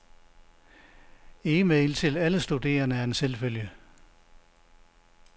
Email til alle studerende er en selvfølge.